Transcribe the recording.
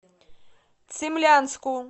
цимлянску